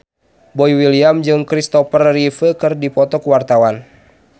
Boy William jeung Christopher Reeve keur dipoto ku wartawan